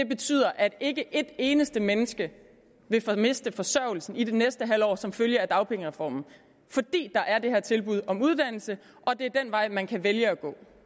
betyder at ikke et eneste menneske vil miste forsørgelsen i det næste halve år som følge af dagpengereformen fordi der er det her tilbud om uddannelse og det er den vej man kan vælge at